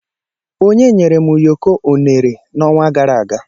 Onye nyere m ụyọkọ unere n'ọnwa gara aga.